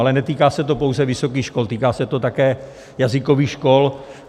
Ale netýká se to pouze vysokých škol, týká se to také jazykových škol.